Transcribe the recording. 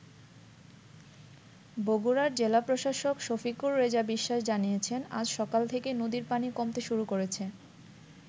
বগুড়ার জেলা প্রশাসক শফিকুর রেজা বিশ্বাস জানিয়েছেন আজ সকাল থেকে নদীর পানি কমতে শুরু করেছে।